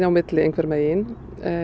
milli einhvern veginn